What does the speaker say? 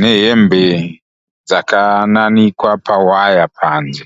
nehembe dzakananikwa pawaya panze.